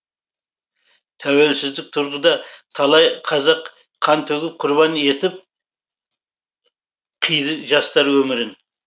тәуелсіздік тұрғыда талай қазақ қан төгіп құрбан етіп қиды жастар өмірін